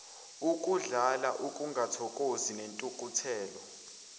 ukudlala ukungathokozi nentukuthelo